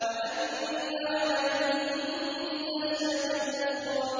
وَأَنَّ عَلَيْهِ النَّشْأَةَ الْأُخْرَىٰ